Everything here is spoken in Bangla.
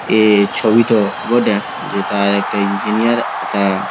এই ছবিটো বটে যেথায় একটা ইঞ্জিনিয়ার এথা --